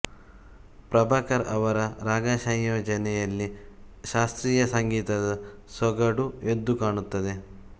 ಪ್ರಭಾಕರ್ ಅವರ ರಾಗಸಂಯೋಜನೆಯಲ್ಲಿ ಶಾಸ್ತ್ರೀಯ ಸಂಗೀತದ ಸೊಗಡು ಎದ್ದು ಕಾಣುತ್ತದೆ